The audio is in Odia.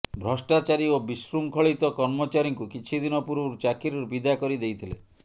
ଭ୍ରଷ୍ଟାଚାରୀ ଓ ବିଶୃଙ୍ଖଳିତ କର୍ମଚାରୀଙ୍କୁ କିଛି ଦିନ ପୂର୍ବରୁ ଚାକିରିରୁୁ ବିଦା କରିଦେଇଥିଲେ